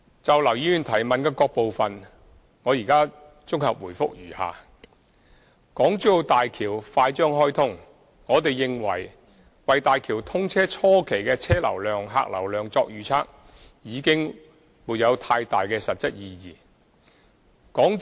就劉議員的質詢各個部分，現綜合答覆如下：一大橋快將開通，我們認為，為大橋通車初期的車、客流量作預測已沒有太大的實質意義。